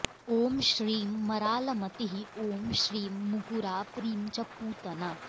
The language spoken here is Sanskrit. ॐ श्रीं मरालमतिः ॐ श्रीं मुकुरा प्रीं च पूतना